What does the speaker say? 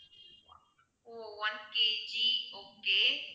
O one KG okay